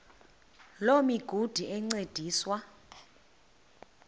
loo migudu encediswa